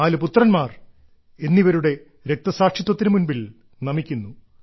നാലു പുത്രന്മാർ എന്നിവരുടെ രക്തസാക്ഷിത്വത്തിനു മുൻപിൽ നമിക്കുന്നു